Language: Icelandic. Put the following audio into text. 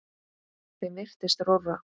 Þeim virtist rórra.